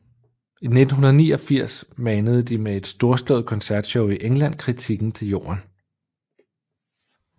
I 1989 manede de med et storslået koncertshow i England kritikken til jorden